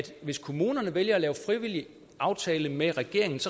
hvis kommunerne vælger at lave en frivillig aftale med regeringen